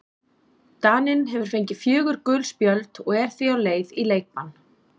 Daninn hefur fengið fjögur gul spjöld og er því á leið í leikbann.